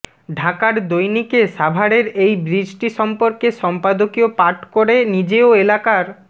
ঢাকার দৈনিকে সাভারের এই ব্রিজটি সম্পর্কে সম্পাদকীয় পাঠ করে নিজেও এলাকার